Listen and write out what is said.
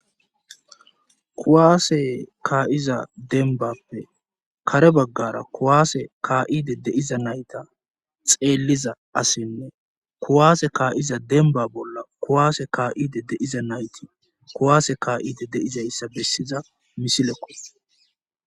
Kuwaase kaa'iza denbappe kare baggara kuwaase ka'ide deiza nayta xeelliza asinne kuwaase kaa'iza denba bolla kuwaase kaa'ide deiza nayti kuwaase ka'ide deizayssa bessiza misilekos.